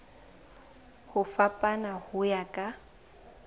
ho fapana ho ya ka